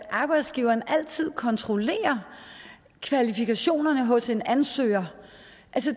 at arbejdsgiveren altid kontrollerer kvalifikationerne hos en ansøger